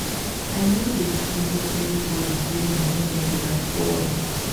i no dey gree make anybodi drain my energy at all.